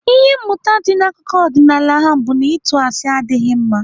Ihe mmụta dị n'akụkọ ọdịnaala ahụ bụ na ịtụ asị adịghị mma.